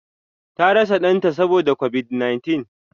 Ta rasa Dan ta Saboda covid-19.